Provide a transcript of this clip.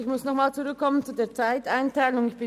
Ich komme zurück auf die Einteilung der Redezeit.